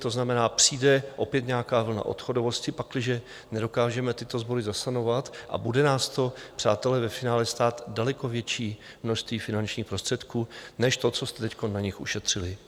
To znamená, přijde opět nějaká vlna odchodovosti, pakliže nedokážeme tyto sbory zasanovat, a bude nás to, přátelé, ve finále stát daleko větší množství finančních prostředků než to, co jste teď na nich ušetřili.